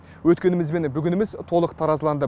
өткеніміз мен бүгініміз толық таразыланды